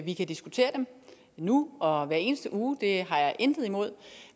vi kan diskutere dem nu og hver eneste uge det har jeg intet imod